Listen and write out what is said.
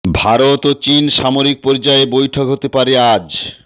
ভারত ও চিন সামরিক পর্যায়ে বৈঠক হতে পারে আজ